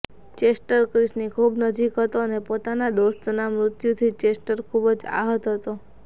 Chester ક્રિસની ખુબ નજીક હતો અને પોતાના દોસ્તના મૃત્યુથી ચેસ્ટર ખુબ જ આહત હતો